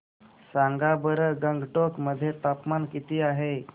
सांगा बरं गंगटोक मध्ये तापमान किती आहे